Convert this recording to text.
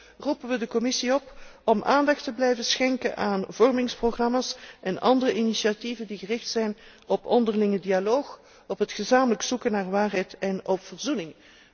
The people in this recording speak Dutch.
Tenslotte roepen we de Commissie op om aandacht te blijven schenken aan vormingsprogramma's en andere initiatieven die gericht zijn op onderlinge dialoog, op het gezamenlijk zoeken naar waarheid en op verzoening.